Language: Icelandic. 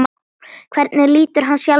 Hvernig lítur hann sjálfur á?